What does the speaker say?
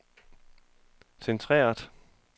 centreret